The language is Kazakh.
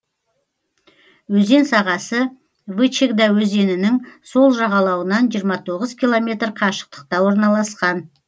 өзен сағасы вычегда өзенінің сол жағалауынан жиырма тоғыз километр қашықтықта орналасқан